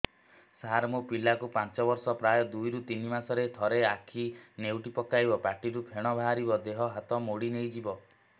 ସାର ମୋ ପିଲା କୁ ପାଞ୍ଚ ବର୍ଷ ପ୍ରାୟ ଦୁଇରୁ ତିନି ମାସ ରେ ଥରେ ଆଖି ନେଉଟି ପକାଇବ ପାଟିରୁ ଫେଣ ବାହାରିବ ଦେହ ହାତ ମୋଡି ନେଇଯିବ